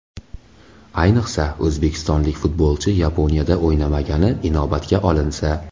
Ayniqsa, o‘zbekistonlik futbolchi Yaponiyada o‘ynamagani inobatga olinsa.